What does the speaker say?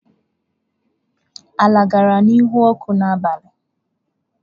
Nla gara n'ihu ọkụ n'abalị.